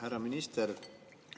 Härra minister!